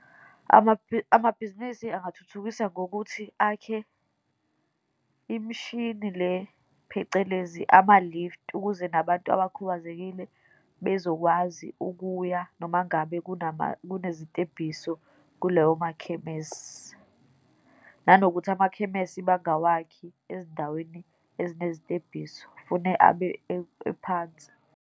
Amabhizinisi angathuthukisa ngokuthi akhe imishini le, phecelezi ama-lift, ukuze nabantu abakhubazekile bezokwazi ukuya, noma ngabe kunezitebhiso kuloyo makhemesi, nanokuthi amakhemesi bangawakhi ezindaweni ezinezitebhiso, fune abe ephansi.